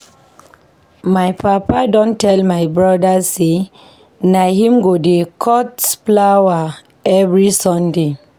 My papa don tell my broda sey na him go dey cut flower every Saturday.